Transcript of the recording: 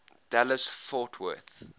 dallas fort worth